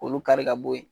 Olu kari ka bo yen